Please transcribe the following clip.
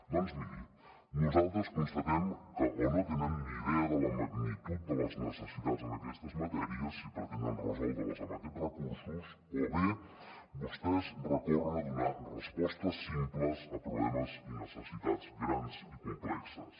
doncs miri nosaltres constatem que o no tenen ni idea de la magnitud de les necessitats en aquestes matèries i pretenen resoldre les amb aquests recursos o bé vostès recorren a donar respostes simples a problemes i necessitats grans i complexes